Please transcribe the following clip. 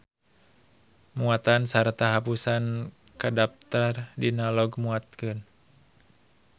Muatan sarta hapusan kadaptar dina log muatkeun.